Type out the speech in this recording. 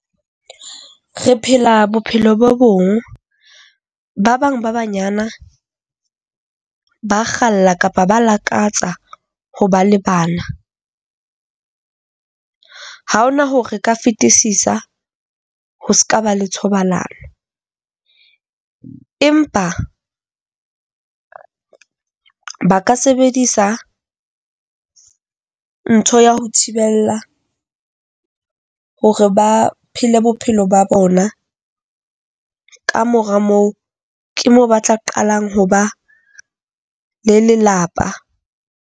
Re phela bophelo bo bong. Ba bang ba banyana ba kgalla kapa ba lakatsa ho ba le bana. Ha hona hore re ka fetisisa ho seka ba le thobalano, empa ba ka sebedisa ntho ya ho thibella hore ba phele bophelo ba bona, kamora moo ke mo ba tla qalang ho ba le lelapa.